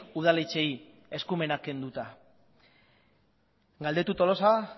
udaletxeei eskumenak kenduta galdetu tolosa